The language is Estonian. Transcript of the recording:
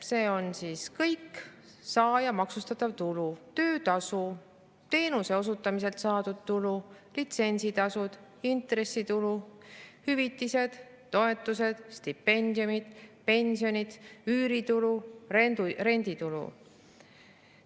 See on saaja maksustatav tulu: töötasu, teenuse osutamiselt saadud tulu, litsentsitasud, intressitulu, hüvitised, toetused, stipendiumid, pensionid, üüritulu, renditulu.